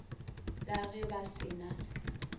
la ge ba se na